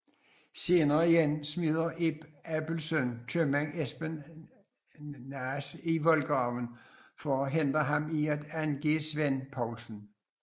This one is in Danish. Senere igen smider Ib Abelsøn købmanden Espen Naas i voldgraven for at hindre ham i at angive Svend Poulsen